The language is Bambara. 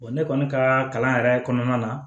Wa ne kɔni ka kalan yɛrɛ kɔnɔna na